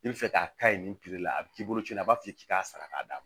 I bɛ fɛ k'a ka ye nin la a bɛ k'i bolo ci a b'a f'i ye k'i k'a sara k'a d'a ma